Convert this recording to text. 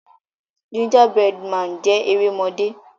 Gingerbread Man jé erémọdé.